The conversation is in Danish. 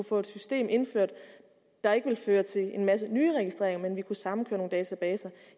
få et system indført der ikke fører til en masse nye registreringer men sammenkører nogle databaser